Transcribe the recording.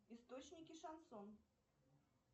источники шансон